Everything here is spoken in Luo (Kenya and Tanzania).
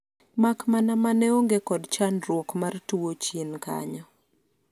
mak mana mane onge kod chandruok mar tuo chien kanyo